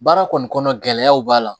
Baara kɔni kɔnɔ gɛlɛyaw b'a la